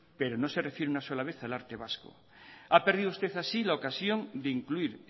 pero no se refiere una sola vez al arte vasco ha perdido usted así la ocasión de incluir